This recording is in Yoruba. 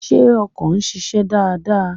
Ṣé ọkọ̀ ń ṣiṣẹ́ dáadáa?